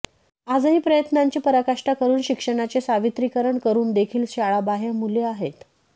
आजही प्रयत्नांची पराकाष्टा करून शिक्षणाचे सार्वत्रिकीकरण करून देखील शाळाबाह्य मुले आहेत